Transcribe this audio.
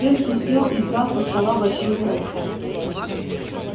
перси сел и взял со стола большую кружку